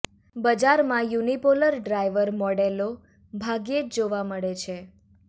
બજારમાં unipolar driver મોડેલો ભાગ્યે જ જોવા મળે છે